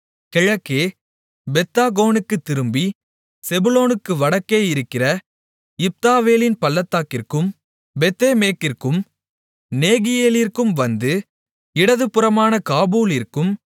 கிழக்கே பெத்தாகோனுக்குத் திரும்பி செபுலோனுக்கு வடக்கே இருக்கிற இப்தாவேலின் பள்ளத்தாக்கிற்கும் பெத்தேமேக்கிற்கும் நேகியெலிற்கும் வந்து இடதுபுறமான காபூலிற்கும்